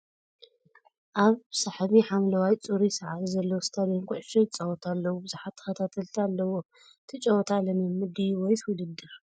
ኣብ ሰሕቢ ሓምለዋይ ፅሩይ ሳዕሪ ዘለዎ ስታድየም ኩዕሾ ይፃወቱ ኣለዉ ብዙሓት ተከታተልቲ ኣለዉዎም ። እቲ ጨውታ ልምምድ ድዩስ ወይስ ውድድር ?